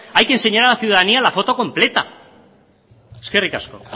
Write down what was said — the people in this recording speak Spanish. hay que enseñar a la ciudadanía la foto completa eskerrik asko